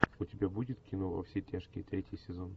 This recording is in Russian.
у тебя будет кино во все тяжкие третий сезон